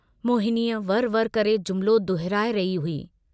मोहिनीअ वर वर करे जुमिलो दुहराए रही हुई।